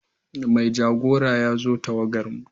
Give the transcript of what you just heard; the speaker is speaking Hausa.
Mai jagora ya zo tawagarmu.